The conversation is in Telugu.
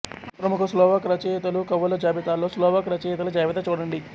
ప్రముఖ స్లోవాక్ రచయితలు కవుల జాబితాలో స్లోవాక్ రచయితల జాబితా చూడండి